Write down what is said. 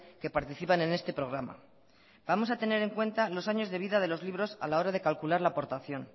que participan en este programa vamos a tener en cuanta los años de vida de los libros a la hora de calcular la aportación